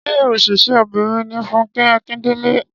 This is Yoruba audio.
Ṣé òṣèré obìrin ní Fúnkẹ́ Akíndélé